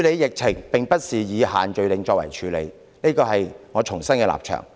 疫情不能以限聚令處理，這是我必須重申的立場。